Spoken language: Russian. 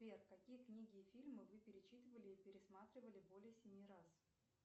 сбер какие книги и фильмы вы перечитывали и пересматривали более семи раз